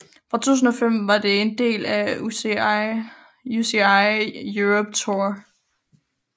Fra 2005 var det en del af UCI Europe Tour